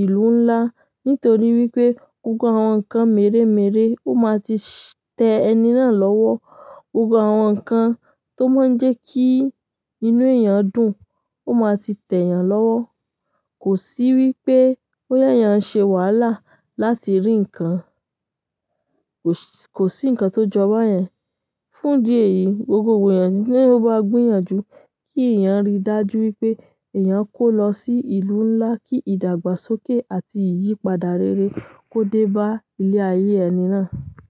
ìlú ńlá nítorí wípé gbogbo àwọn ǹkan mèremère ó máa ti tẹ ẹni náà lọ́wọ́. Gbogbo àwọn ǹkan tó máa ń jẹ́ kí inú èèyàn dùn ó máa ti tẹ ìyàn lọ́wọ́. Kò sí wípé bóyá èèyàn ń ṣe wàhálà láti rí ǹkan. Kò sí ǹkan tó jọba yen. Fún ìdí èyí, gbogbo èèyàn tí ó bá gbìyànjú kí èèyàn rí dájú wípé èèyàn kó lọ sí ìlú ńlá kí ìdàgbàsókè àti ìyípadà rere kó dé bá ilé ayé ẹni náà.